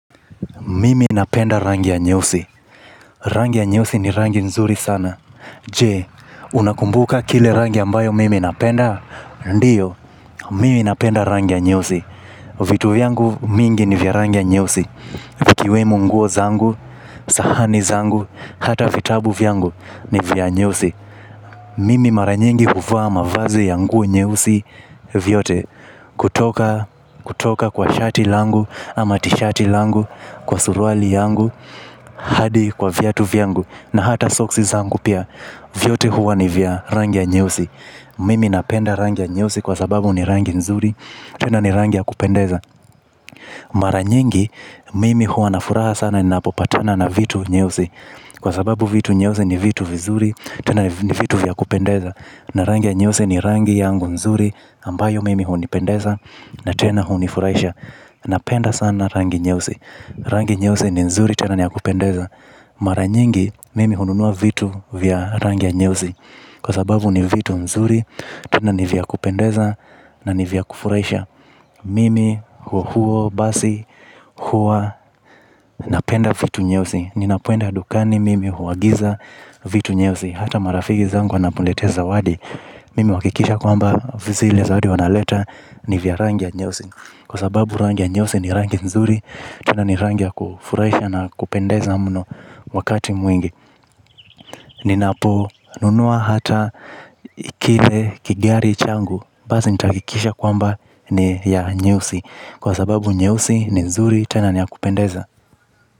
Mimi napenda rangi ya nyeusi. Rangi ya nyeusi ni rangi nzuri sana. Je? Unakumbuka kile rangi ambayo mimi napenda. Ndiyo, mimi napenda rangi ya nyeusi. Vitu vyangu mingi ni vya rangi ya nyeusi. Vikiwemo nguo zangu, sahani zangu, hata vitabu vyangu ni vya nyeusi. Mimi mara nyingi huvaa mavazi ya nguo nyeusi vyote. Kutoka kwa shati langu ama tishati langu kwa suruali yangu. Hadi kwa viatu vyangu na hata soksi zangu pia. Vyote huwa ni vya rangi ya nyeusi. Mimi napenda rangi ya nyeusi kwa sababu ni rangi nzuri. Tena ni rangi ya kupendeza. Mara nyingi mimi huwa na furaha sana ni napopatana na vitu nyeusi. Kwa sababu vitu nyeusi ni vitu vizuri. Tena ni vitu vya kupendeza. Na rangi ya nyeusi ni rangi yangu nzuri ambayo mimi hunipendeza na tena hunifurahisha. Napenda sana rangi nyeusi. Rangi nyeusi ni nzuri tena ni ya kupendeza. Mara nyingi mimi hununua vitu vya rangi ya nyeusi. Kwa sababu ni vitu nzuri. Tena ni vya kupendeza na ni vya kufurahisha. Mimi huo huo basi huwa napenda vitu nyeusi. Ninapenda dukani mimi huagiza vitu nyeusi. Hata marafiki zangu wanaponiletea zawadi. Mimi huwakikisha kwamba vizile zawadi wanaleta ni vya rangi ya nyeusi. Kwa sababu rangi ya nyeusi ni rangi nzuri. Tena ni rangi ya kufurahisha na kupendeza muno wakati mwingi ninaponunua hata kile kigari changu basi nitahakikisha kwamba ni ya nyeusi. Kwa sababu nyeusi ni nzuri. Tena ni yakupendeza.